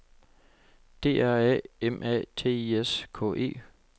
D R A M A T I S K E